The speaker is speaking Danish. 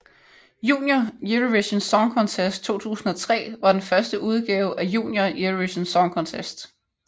Junior Eurovision Song Contest 2003 var den første udgave af Junior Eurovision Song Contest